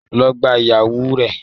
Lọ gbá ìyèwù rẹ.